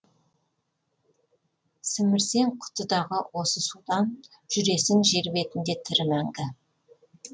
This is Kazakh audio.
сімірсең құтыдағы осы судан жүресің жер бетінде тірі мәңгі